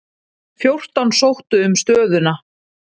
Fjórtán sóttu um stöðuna.